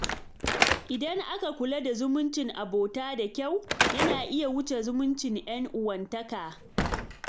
Idan aka kula da zumuncin abota da kyau, yana iya wuce zumuncin 'yan uwantaka.